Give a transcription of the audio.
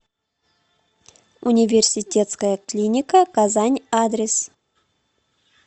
университетская клиника казань адрес